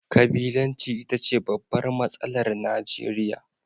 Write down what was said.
Kabilanci ita ce babbar matsalar Najeriya